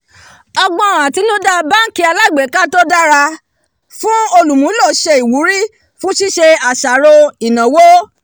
ọgbọ́n atinuda baanki alágbèéká tó dára fún olùmúlò ṣe ìwúrí fún ṣíṣe àṣàrò ìnáwó